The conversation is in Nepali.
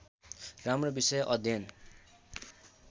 राम्रो विषय अध्ययन